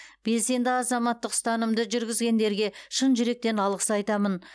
белсенді азаматтық ұстанымды жүргізгендерге шын жүректен алғыс айтамын